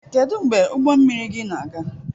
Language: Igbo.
Kedu mgbe ụgbọ mmiri gị na-aga?